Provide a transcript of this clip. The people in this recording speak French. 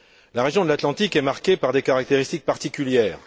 La région de l'Atlantique est marquée par des caractéristiques particulières.